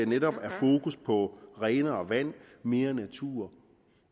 netop fokus på renere vand mere natur